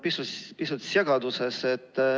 Ma olen pisut segaduses.